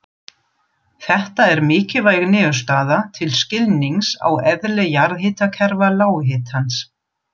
Þetta er mikilvæg niðurstaða til skilnings á eðli jarðhitakerfa lághitans.